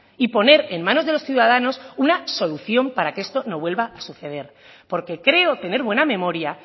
y poner en manos de los ciudadanos una solución para que esto no vuelva a suceder porque creo tener buena memoria